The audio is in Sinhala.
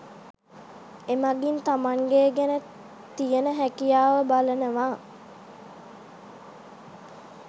එමගින් තමන්ගේ ගැන තියන හැකියාව බලනවා